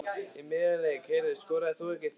Í miðjum leik: Heyrðu, skoraðir þú ekki þriðja markið?